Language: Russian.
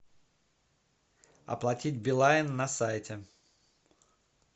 оплатить билайн на сайте